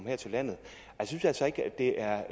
her til landet jeg synes altså ikke det er